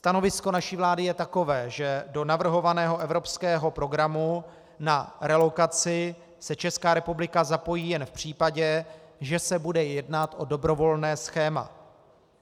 Stanovisko naší vlády je takové, že do navrhovaného evropského programu na relokaci se Česká republika zapojí jen v případě, že se bude jednat o dobrovolné schéma.